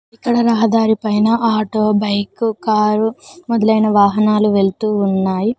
ఇక్కడ రహదారి పైన ఆటో బైకు కారు మొదలైన వాహనాలు వెళుతూ ఉన్నాయి.